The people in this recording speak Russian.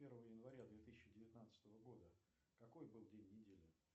первого января две тысячи девятнадцатого года какой был день недели